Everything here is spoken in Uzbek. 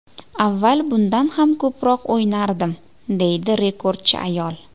Avval bundan ham ko‘proq o‘ynardim”, deydi rekordchi ayol.